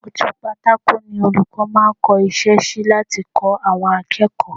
Ojú pátákò ni olùkọ́ máa ń kọ́ iṣẹ́ sí láti kọ́ àwọn akẹ́kọ̀ọ́